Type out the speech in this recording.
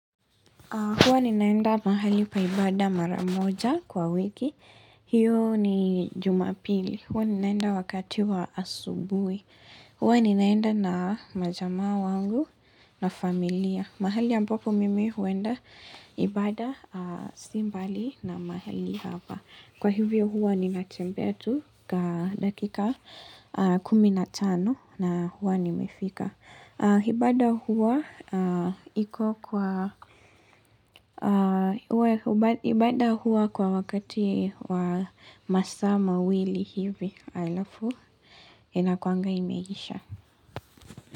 Huwa ninaenda mahali pa ibada mara moja kwa wiki, hiyo ni jumapili, huwa ninaenda wakati wa asubuhi, huwa ninaenda na majamaa wangu na familia, mahali ambapo mimi huenda ibada si mbali na mahali hapa. Kwa hivyo huwa ninatembea tu kaa dakika kumi na tano na huwa nimefika.ibada ibada huwa kwa wakati wa masaa mawili hivi halafu inakuwanga imeisha.